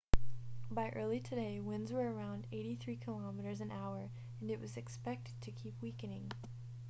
by early today winds were around 83 km/h and it was expect to keep weakening